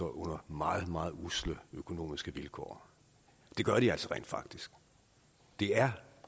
under meget meget usle økonomiske vilkår det gør de altså rent faktisk det er